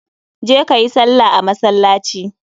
Je ka yi salla a masallaci.